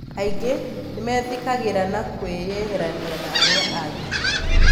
angĩ nĩmethikagĩra na kwĩyeherania na aria angĩ.